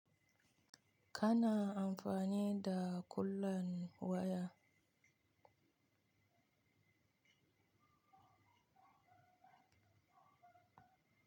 Kana amfani da kallon waya?